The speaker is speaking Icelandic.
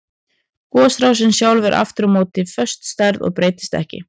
Gosrásin sjálf er aftur á móti föst stærð og breytist ekki.